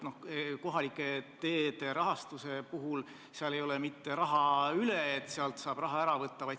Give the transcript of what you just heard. Kohalike teede rahastamisel ei ole mitte raha üle, nii et sealt võiks seda ära võtta.